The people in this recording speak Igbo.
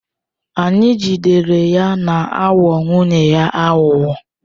Anyị jidere ya na-aghọ nwunye ya aghụghọ.